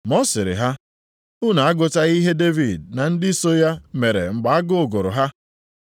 Ma ọ sịrị ha, “Unu agụtaghị ihe Devid na ndị so ya mere mgbe agụụ gụrụ ha?